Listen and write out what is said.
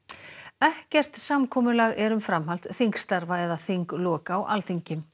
ekkert samkomulag er um framhald þingstarfa eða þinglok á Alþingi